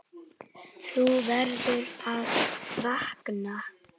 Þú verður að vakna.